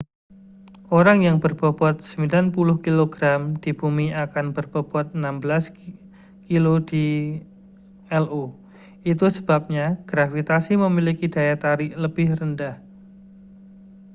orang yang berbobot 90 kg di bumi akan berbobot 16 kg di io itu sebabnya gravitasi memiliki daya tarik lebih rendah